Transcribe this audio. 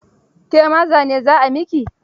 Ke ma zane za a yi miki?